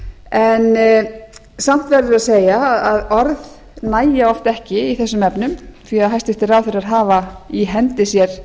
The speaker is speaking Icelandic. en samt verður að segja að orð nægja oft ekki í þessum efnum því að hæstvirtir ráðherrar hafa í hendi sér